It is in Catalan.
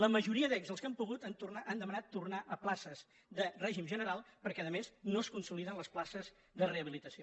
la majoria d’ells els que han pogut han demanat tornar a places de règim general perquè a més no es consoliden les places de rehabilitació